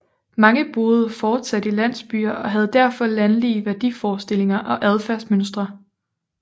Mange boede fortsat i landsbyer og havde derfor landlige værdiforestillinger og adfærdsmønstre